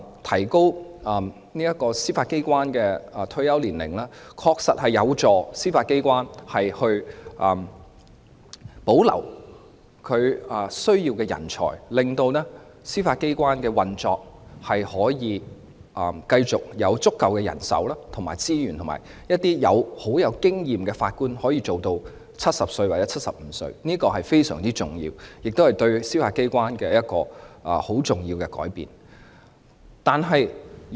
提高司法機關人員的退休年齡，確實有助司法機關保留所需的人才，讓司法機構能有足夠的人手和資源繼續運作，並讓具豐富經驗的法官可以繼續工作至70歲或75歲，這是非常重要的，亦是對司法機關很重要的改變。